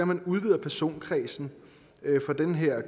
man udvider personkredsen for den her